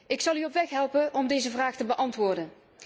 Ik zal u op weg helpen om deze vraag te beantwoorden.